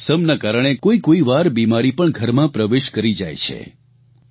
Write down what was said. પરંતુ મૌસમના કારણે કોઇકોઇ વાર બિમારી પણ ઘરમાં પ્રવેશ કરી જાય છે